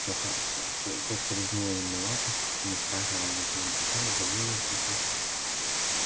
тётка лизнула ему лапу и не спрашивая зачем он пришёл завыла тихо и на разные голоса